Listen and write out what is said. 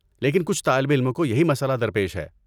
لیکن کچھ طالب علموں کو یہی مسئلہ درپیش ہے۔